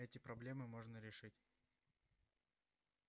эти проблемы можно решить